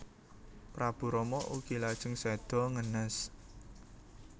Prabu Rama ugi lajeng séda ngenes